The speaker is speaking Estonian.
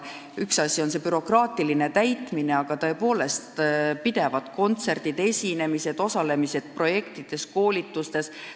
Üks asi on bürokraatlike paberite täitmine, aga veel peavad olema kontserdid, esinemised, osalemised projektides, koolitustes.